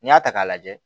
N'i y'a ta k'a lajɛ